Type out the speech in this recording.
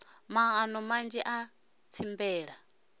maano manzhi a u tsimbela